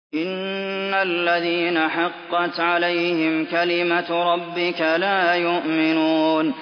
إِنَّ الَّذِينَ حَقَّتْ عَلَيْهِمْ كَلِمَتُ رَبِّكَ لَا يُؤْمِنُونَ